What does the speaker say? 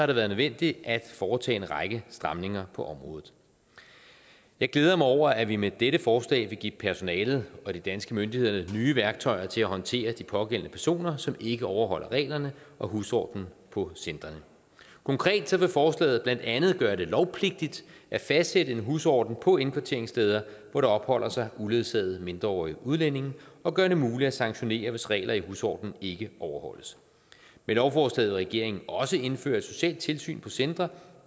det været nødvendigt at foretage en række stramninger på området jeg glæder mig over at vi med dette forslag vil give personalet og de danske myndigheder nye værktøjer til at håndtere de pågældende personer som ikke overholder reglerne og husordenen på centrene konkret vil forslaget blandt andet gøre det lovpligtigt at fastsætte en husorden på indkvarteringssteder hvor der opholder sig uledsagede mindreårige udlændinge og gøre det muligt at sanktionere hvis regler i husordenen ikke overholdes med lovforslaget vil regeringen også indføre et socialt tilsyn på centre